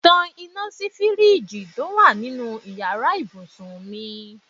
Tan iná sí fíríìjiì tó wà nínú ìyára ibùsùn mi.